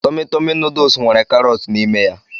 Tọmi Tọmi nuduls nwere karọt n'ime ya.